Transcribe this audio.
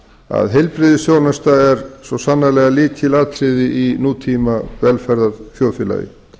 að heilbrigðisþjónusta er svo sannarlega lykilatriði í nútíma velferðarþjóðfélagi